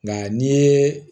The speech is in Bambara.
Nka n'i ye